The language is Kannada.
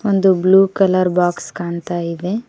ದು ಬ್ಲೂ ಕಲರ್ ಬಾಕ್ಸ್ ಕಾಣ್ತಾ ಇದೆ.